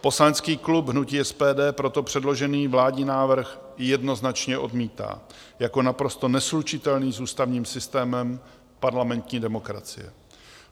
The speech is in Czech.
Poslanecký klub hnutí SPD proto předložený vládní návrh jednoznačně odmítá jako naprosto neslučitelný s ústavním systémem parlamentní demokracie.